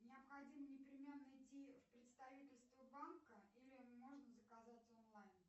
необходимо непременно идти в представительство банка или можно заказать онлайн